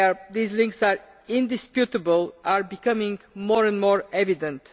These links are indisputable and are becoming more and more evident.